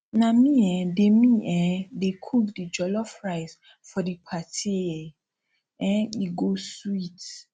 na me um dey me um dey cook di jollof rice for di party e um go sweet